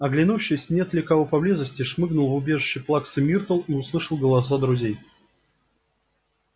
оглянувшись нет ли кого поблизости шмыгнул в убежище плаксы миртл и услышал голоса друзей